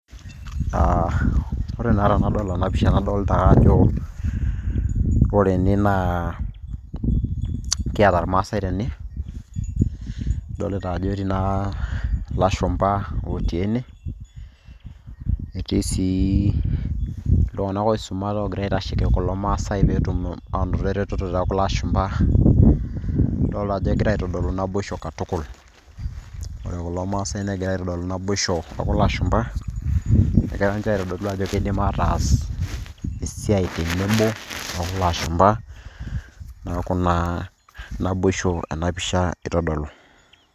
Ah ore naa tenadol ena pisha nadol taa ajo, ore ene naa kiata irmaasai tene. Idolita ajo etii naa ilashumpa otii ene, netii si iltung'anak oisumate ogira aitasheki kulo maasai petum anoto ereteto tokulo ashumpa. Idolta ajo egira aitodolu naboisho katukul. Ore kulo maasai negira aitodolu naboisho okulo ashumpa, negira nche aitodolu ajo kiidim ataas esiai tenebo okulo ashumpa. Neeku naa naboisho ena pisha itodolu.